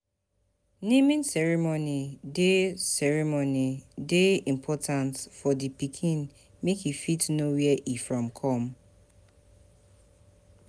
Naming ceremony de ceremony de important for di pikin make e fit know where e from come